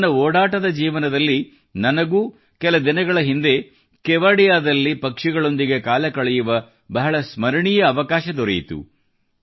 ನನ್ನ ಓಡಾಟದ ಜೀವನದಲ್ಲಿ ನನಗೂ ಕೆಲ ದಿನಗಳ ಹಿಂದೆ ಕೆವಡಿಯಾದಲ್ಲಿ ಪಕ್ಷಿಗಳೊಂದಿಗೆ ಕಾಲ ಕಳೆಯುವ ಬಹಳ ಸ್ಮರಣೀಯ ಅವಕಾಶ ದೊರೆಯಿತು